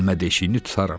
Dəlmə deşiyini tutaram.